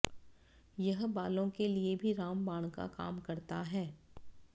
ये बालों के लिए भी रामबाण का काम करता है